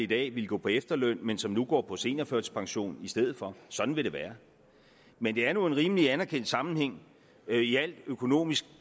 dag ville gå på efterløn men som nu går på seniorførtidspension i stedet for sådan vil det være men det er nu en rimelig anerkendt sammenhæng i al økonomisk